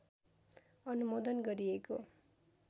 अनुमोदन गरिएको